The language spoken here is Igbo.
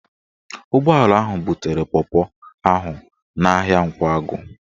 Ụgbọala ahụ butere pọpọ ahụ n'ahịa Nkwagụ